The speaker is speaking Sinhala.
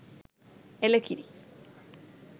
එළ කිරි